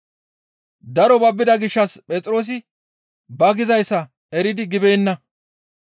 Daro babbida gishshas Phexroosi ba gizayssa eridi gibeenna.